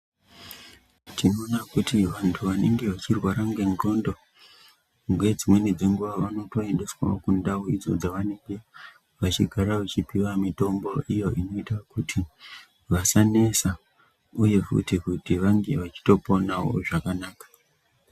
Tinoona kuti vantu vanenge vechirwara ngencondo ngedzimweni dzenguwa vanotoendeswa kundau idzo dzavanenge vachigara vachipiwa mitombo iyo inoita kuti vasanesa uye futi kuti vange vachitoponawo zvakanaka.